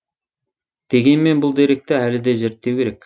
дегенмен бұл деректі әлі де зерттеу керек